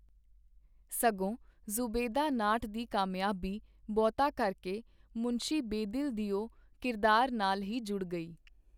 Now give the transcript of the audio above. ਸਗੋਂ ਜ਼ੁਬੈਦਾ ਨਾਟ ਦੀ ਕਾਮਯਾਬੀ ਬਹੁਤਾ ਕਰਕੇ ਮੁਨਸ਼ੀ ਬੇਦਿਲ ਦਿਓ ਕਿਰਦਾਰ ਨਾਲ ਹੀ ਜੁੜ ਗਈ.